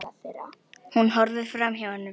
Hún horfir framhjá honum.